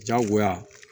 Diyagoya